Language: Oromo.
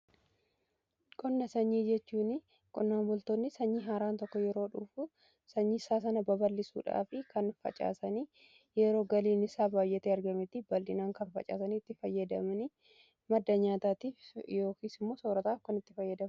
Qonna sanyii jechuun qonnaan bultoonni sanyii haaraan tokko yeroo dhufu sanyiisaa sana babal'isuudhaa fi kan facaasanii yeroo galiin isaa baay'ate argameti bal'inaan kan facaasaniiitti fayyadamani madda nyaataatiif yookiin immoo soorataaf kan itti fayyadamaniidha.